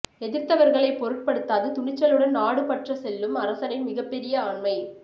எதிர்த்தவர்களை பொருட்படுத்தாது துணிச்சலுடன் நாடு பற்ற செல்லும் அரசனின் மிகப்பெரிய ஆண்மை